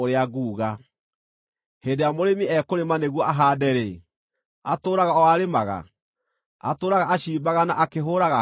Hĩndĩ ĩrĩa mũrĩmi ekũrĩma nĩguo ahaande-rĩ, atũũraga o arĩmaga? Atũũraga aciimbaga na akĩhũũraga harũ?